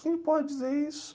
Quem pode dizer isso?